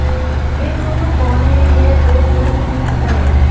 ये दोंनो कौन हैं यह तो तुरंत नहीं पता लगा